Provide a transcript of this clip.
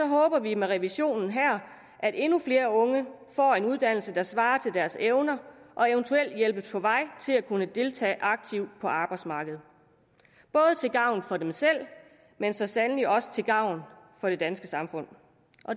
håber vi med revisionen her at endnu flere unge får en uddannelse der svarer til deres evner og eventuelt hjælpes på vej til at kunne deltage aktivt på arbejdsmarkedet til gavn for dem selv men så sandelig også til gavn for det danske samfund